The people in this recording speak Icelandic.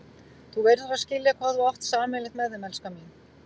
Þú verður að skilja hvað þú átt sameiginlegt með þeim, elskan mín.